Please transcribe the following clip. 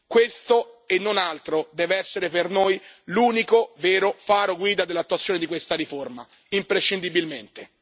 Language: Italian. Questo e non altro deve essere per noi l'unico vero faro guida dell'attuazione di questa riforma, imprescindibilmente.